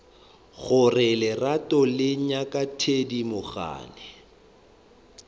gore lerato le ngaka thedimogane